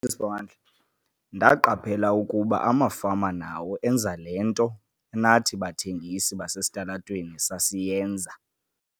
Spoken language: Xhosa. Isiponji. "Ndaqaphela ukuba amafama nawo enza le nto nathi bathengisi basesitalatweni sasiyenza."